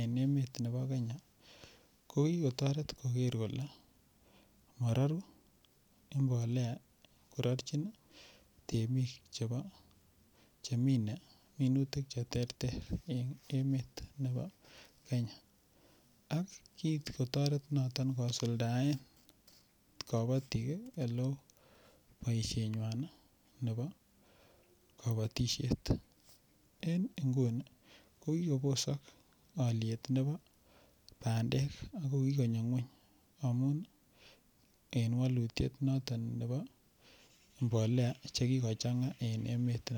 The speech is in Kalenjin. en emet nebo Kenya ko kikotoret koker kole marorun mbolea kororchin temik cheminei minutik cheterter en emet nebo Kenya ak kikotoret noton kosuldaen kabotik ole oo boishenywan nebo kabotishet eng' nguni ko kikobosok oliet nebo bandek ako kikonyo ng'wony amun en walutiet noton nebo mbolea che kikochang'a en emetab